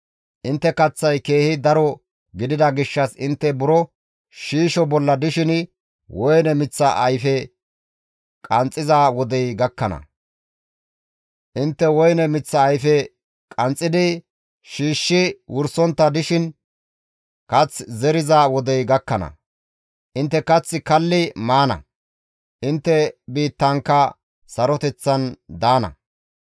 Intte kaththay keehi daro gidida gishshas intte buro shiisho bolla dishin woyne miththa ayfe qanxxiza wodey gakkana; intte woyne miththa ayfe qanxxidi shiishshi wursontta dishin kath zeriza wodey gakkana; intte kath kalli maana; intte biittankka saroteththan daana.